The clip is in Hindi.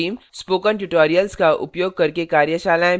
spoken tutorials का उपयोग करके कार्यशालाएँ भी चलाते हैं